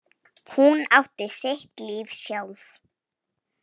Hún átti sitt líf sjálf.